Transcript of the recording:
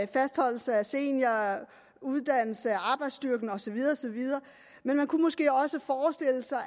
fastholdelse af seniorer uddannelse af arbejdsstyrken og så videre og så videre men man kunne måske også forestille sig